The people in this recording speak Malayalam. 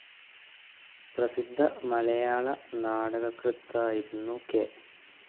പ്രസിദ്ധ മലയാള നാടകകൃത്തായിരുന്നു കെ.